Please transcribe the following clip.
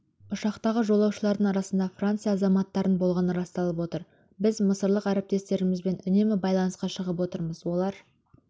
ұшақтағы жолаушылардың арасында франция азаматтарының болғаны расталып отыр біз мысырлық әріптестерімізбен үнемі байланысқа шығып отырмыз олар